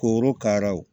Korokaraw